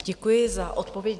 Děkuji za odpověď.